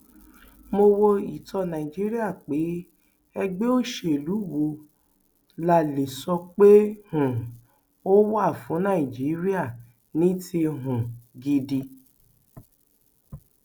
mo wo ìtàn nàìjíríà pé ẹgbẹ òṣèlú wo la lè sọ pé um ó wà fún nàìjíríà ní ti um gidi